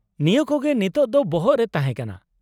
ᱱᱤᱭᱟᱹ ᱠᱚᱜᱮ ᱱᱤᱛᱚᱜ ᱫᱚ ᱵᱚᱦᱚᱜ ᱨᱮ ᱛᱟᱦᱮᱸ ᱠᱟᱱᱟ ᱾